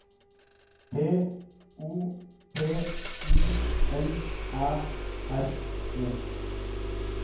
P O P U L Æ R E